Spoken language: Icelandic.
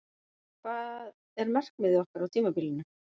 Hvað er markmiðið okkar á tímabilinu?